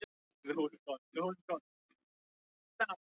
Samkvæmt kynjafræðinni er mikilvægt að gera greinarmun á þessu tvennu.